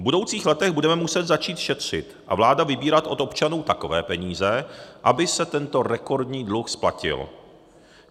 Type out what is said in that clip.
V budoucích letech budeme muset začít šetřit a vláda vybírat od občanů takové peníze, aby se tento rekordní dluh splatil.